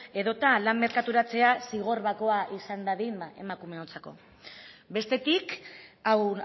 edo eta lan merkaturatzea zigor bakoa izan dadin emakumeontzako bestetik hau